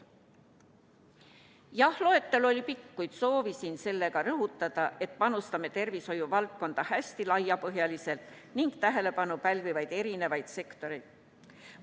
Jah, loetelu oli pikk, kuid soovisin sellega rõhutada, et panustame tervishoiu valdkonda hästi laiapõhjaliselt – tähelepanu pälvivad erinevad sektorid.